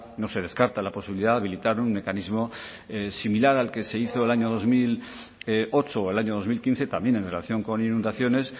no se descarta la posibilidad de habilitar un mecanismo similar al que se hizo el año dos mil ocho o el año dos mil quince también en relación con inundaciones